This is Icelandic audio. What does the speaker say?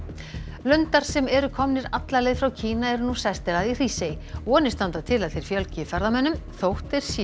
lundar sem eru komnir alla leið frá Kína eru nú sestir að í Hrísey vonir standa til að þeir fjölgi ferðamönnum þótt þeir séu